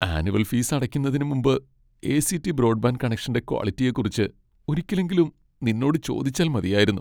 Annual fees അടയ്ക്കുന്നതിന് മുമ്പ് ACT. Broadband കണക്ഷന്റെ ക്വാളിറ്റിയെക്കുറിച്ച് ഒരിക്കലെങ്കിലും നിന്നോട് ചോദിച്ചാൽ മതിയായിരുന്നു .